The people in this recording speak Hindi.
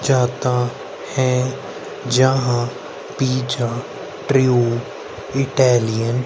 चाहता है जहां पिज्जा प्रयोग इटालियन --